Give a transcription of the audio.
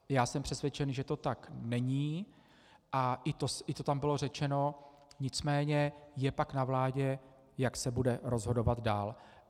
Já jsem přesvědčen, že to tak není, a i to tam bylo řečeno, nicméně je pak na vládě, jak se bude rozhodovat dál.